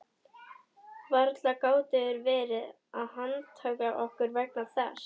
Varla gátu þeir verið að handtaka okkur vegna þess.